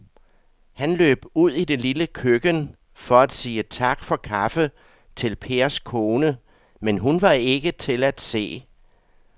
Han løb ud i det lille køkken for at sige tak for kaffe til Pers kone, men hun var ikke til at se.